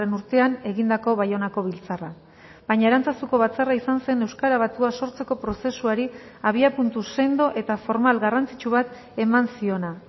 urtean egindako baionako biltzarra baina arantzazuko batzarra izan zen euskara batua sortzeko prozesuari abiapuntu sendo eta formal garrantzitsu bat eman ziona